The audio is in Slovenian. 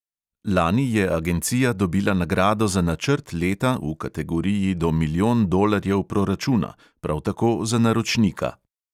Lani je agencija dobila nagrado za načrt leta v kategoriji do milijon dolarjev proračuna, prav tako za naročnika.